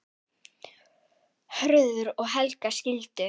Hörður og Helga skildu.